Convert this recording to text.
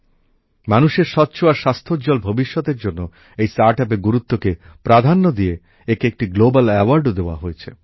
মানুষের স্বচ্ছ আর স্বাস্থোজ্জ্বল ভবিষ্যতের জন্য এই স্টার্টাপের গুরুত্বকে প্রাধান্য দিয়ে একে একটি গ্লোবাল অ্যাওয়ার্ডও দেওয়া হয়েছে